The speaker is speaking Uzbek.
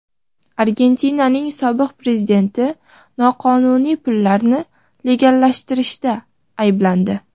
Argentinaning sobiq prezidenti noqonuniy pullarni legallashtirishda ayblandi.